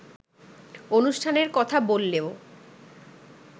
অনুষ্ঠানের কথা বললেও